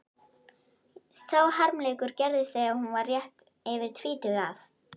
Sá harmleikur gerðist þegar hún var rétt yfir tvítugt að